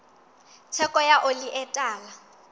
theko ya oli e tala